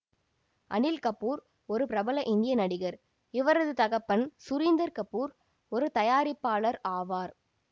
அனில் கபூர் ஒரு பிரபல இந்திய நடிகர் இவரது தகப்பன் சுரீந்தர் கபூர் ஒரு தயாரிப்பாளர் ஆவார்